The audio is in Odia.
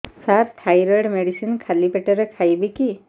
ସାର ଥାଇରଏଡ଼ ମେଡିସିନ ଖାଲି ପେଟରେ ଖାଇବି କି